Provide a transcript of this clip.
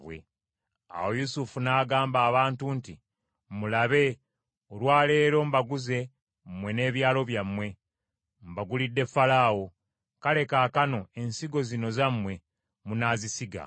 Awo Yusufu n’agamba abantu nti, “Mulabe, olwa leero mbaguze mmwe n’ebyalo byammwe; mbagulidde Falaawo. Kale kaakano ensigo zino zammwe munaazisiga.